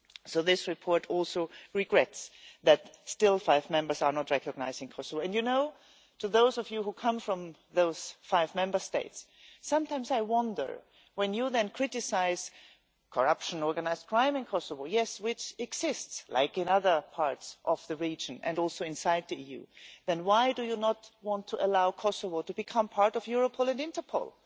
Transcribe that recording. So this report also regrets that still five Members are not recognising Kosovo, and you know, to those of you who come from those five Member States, sometimes I wonder, when you then criticise corruption organised crime in Kosovo, yes, which exists, like in other parts of the region and also inside the EU then why do you not want to allow Kosovo to become part of Europol and Interpol?